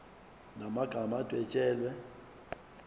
la magama adwetshelwe